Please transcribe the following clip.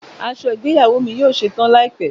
Aṣọ igbeyawo mi yoo ṣetan laipẹ.